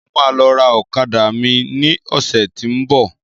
Mo máa lọ ra ọ̀kadà mi ní ọ̀sẹ́ tí ń bọ̀.